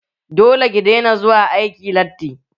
Dole ki daina zuwa aiki latti!